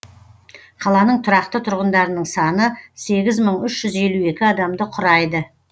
қаланың тұрақты тұрғындарының саны сегіз мың үш жүз елу екі адамды құрайды